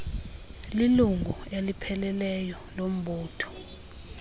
lilungu elipheleleyo lombutho